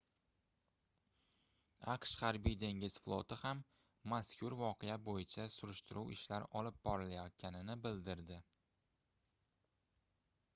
aqsh harbiy-dengiz floti ham mazkur voqea boʻyicha surishtiruv ishlari olib borilayotganini bildirdi